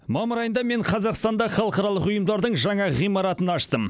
мамыр айында мен қазақстанда халықаралық ұйымдардың жаңа ғимаратын аштым